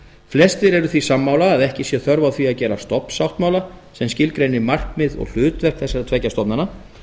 flestir eru því sammála að ekki sé þörf á því að gera stofnsáttmála sem skilgreinir markmið og hlutverk þessara tveggja stofnana